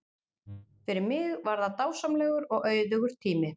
Fyrir mig var það dásamlegur og auðugur tími.